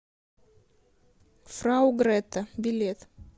фрау гретта билет